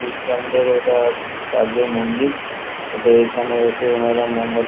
খ্রিস্টানদের ওটা চার্জের মন্দির ওদের এখানে এসে ওনারা মোমবাত--